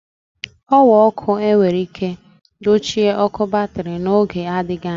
Ọ̀wà ọkụ enwere ike dochie ọ̀kụ batrị n'oge adịghị anya.